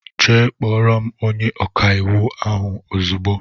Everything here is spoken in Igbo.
Jee kpọrọ m ónyé ọkà íwú ahụ ozigbo!!!